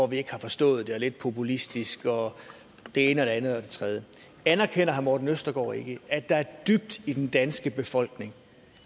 vi ikke har stået det er lidt populistisk og det ene det andet og det tredje anerkender herre morten østergaard ikke at der dybt i den danske befolkning